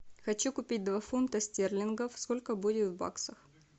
хочу купить два фунта стерлингов сколько будет в баксах